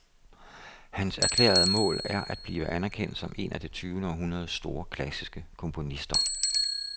Hans erklærede mål er at blive anerkendt som en af det tyvende århundredes store klassiske komponister.